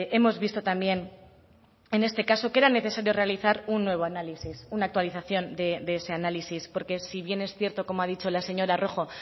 hemos visto también en este caso que era necesario realizar un nuevo análisis una actualización de ese análisis porque si bien es cierto como ha dicho la señora rojo